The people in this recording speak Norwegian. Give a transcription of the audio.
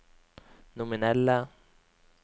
nominelle